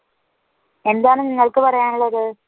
എന്താണ് നിങ്ങൾക്ക് പറയാനുള്ളത്?